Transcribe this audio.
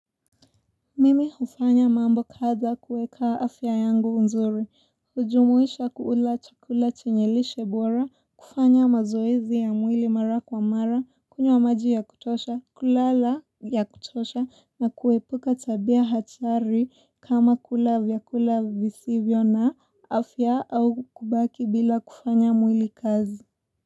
Mimi hufanya mambo kadha kuweka afya yangu unzuri, hujumuisha kula chakula chenye lishe bora, kufanya mazoezi ya mwili mara kwa mara, kunywa maji ya kutosha, kulala ya kutosha na kuepuka tabia hatari kama kula vyakula visivyo na afya au kubaki bila kufanya mwili kazi.